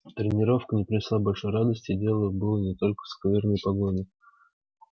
тренировка не принесла большой радости и дело было не только в скверной погоде